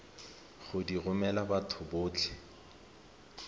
go di romela batho botlhe